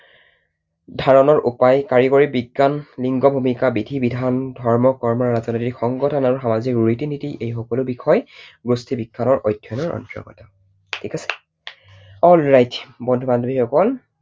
ধাৰণৰ উপায়, কাৰিকৰী বিজ্ঞান, লিংগ ভূমিকা, বিধি বিধান, ধৰ্ম কৰ্ম, ৰাজনৈতিক সংগঠন আৰু সামাজিক ৰীতি নীতি এই সকলো বিষয় গোষ্ঠীবিজ্ঞানৰ অন্তৰ্গত। ঠিক আছে? alright বন্ধু বান্ধৱী সকল